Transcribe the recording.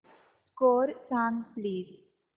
score सांग please